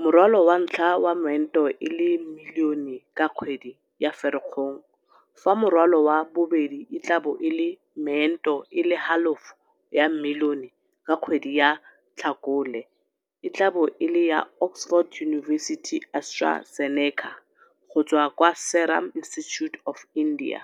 morwalo wa ntlha wa meento e le milione ka kgwedi ya Ferikgong fa morwalo wa bobedi e tla bo e le meento e le halofo ya milione ka kgwedi ya Tlhakole, e tla bo e le ya Oxford University-AstraZeneca go tswa kwa Serum Institute of India.